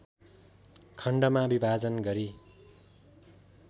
खण्डमा विभाजन गरी